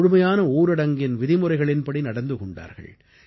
முழுமையான ஊரடங்கின் விதிமுறைகளின்படி நடந்து கொண்டார்கள்